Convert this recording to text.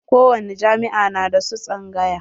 Ko wani jami'a na da su tsangaƴa.